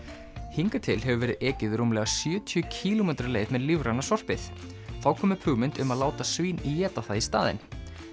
hingað til hefur verið ekið rúmlega sjötíu kílómetra leið með lífræna sorpið þá kom upp hugmynd um að láta svín éta það í staðinn